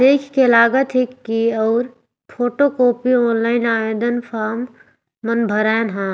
देख के लागत हे की और फोटो कॉपी ऑनलाइन आवेदन फॉर्म मन भरायण ह।